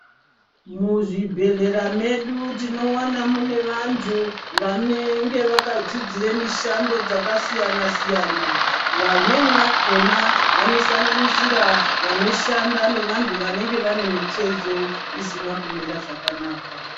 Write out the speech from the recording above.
Muzvibhedhlera medu tinowana mune vantu vanenge vakadzidzire mishando dzakasiyana-siyana. Vamweni vakona vanosanganisira vanoshanda nevantu vanenge vane mitezo isina kumira zvakanaka.